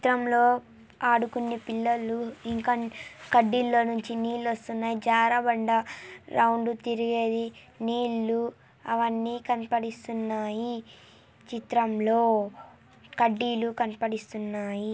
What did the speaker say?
ఈ చిత్రంలో ఆడుకునే పిల్లలు ఇంకా కడ్డీల్లోంచి నీళ్లు వస్తున్నాయ్. జారబండ రౌండ్ తిరిగేది. నీళ్లు అవన్నీ కనపడుతున్నాయి చిత్రంలో. కడ్డీలు కనపడిస్తున్నాయి.